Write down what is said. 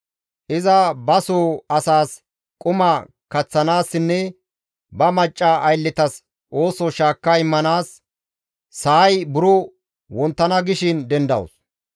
Iza ba soo asas quma kaththanaassinne ba macca aylletas ooso shaakka immanaas, sa7ay buro wonttana gishin dendawus.